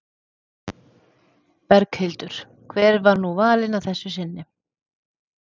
Berghildur, hver var nú valinn að þessu sinni?